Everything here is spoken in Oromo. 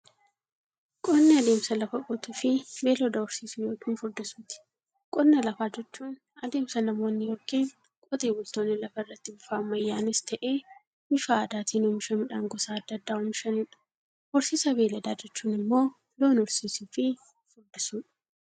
Qonni adeemsa lafa qotuufi beeylada horsiisuu yookiin furdisuuti. Qonna lafaa jechuun adeemsa namoonni yookiin Qotee bultoonni lafarraatti bifa ammayyanis ta'ee, bifa aadaatiin oomisha midhaan gosa adda addaa oomishaniidha. Horsiisa beeyladaa jechuun immoo loon horsiisuufi furdisuudha.